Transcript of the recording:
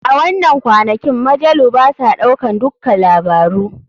A wanan kwanakin majalu basa ɗaukan dukka labaru.